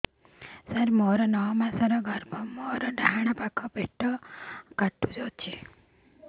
ସାର ମୋର ନଅ ମାସ ଗର୍ଭ ମୋର ଡାହାଣ ପାଖ ପେଟ ବଥା ହେଉଛି